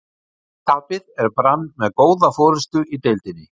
Þrátt fyrir tapið er Brann með góða forystu í deildinni.